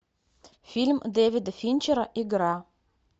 фильм дэвида финчера игра